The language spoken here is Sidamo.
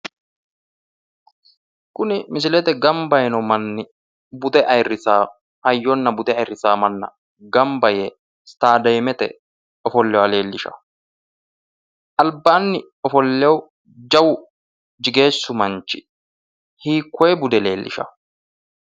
Kuni misilete gamba yiino manni bude ayiirrisaa, hayyonna bude ayiirrisaa manna gamba yee istaadeemete ofolleha leellishaa. albaanni ofolleehu jawu jigeessu manchi hiikoye bude leellishawo.